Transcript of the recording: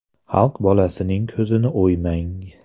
Xalq bolasining ko‘zini o‘ymang.